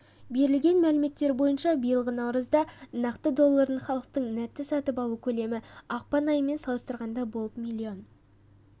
берілген мәліметтер бойынша биылғы наурызда нақты долларын халықтың нетто-сатып алу көлемі ақпан айымен салыстырғанда болып млн